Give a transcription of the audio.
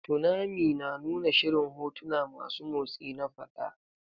Tunami na nuna shirin hotuna masu motsi na faɗa.